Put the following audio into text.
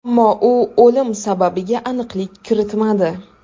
Ammo u o‘lim sababiga aniqlik kiritmadi.